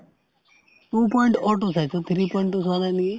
two point o তো চাইছো three pointতো চোৱা নাই নেকি ।